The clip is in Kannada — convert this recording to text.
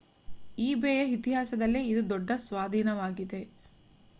ಈಬೇಯ ಇತಿಹಾಸದಲ್ಲೇ ಇದು ದೊಡ್ಡ ಸ್ವಾಧೀನವಾಗಿದೆ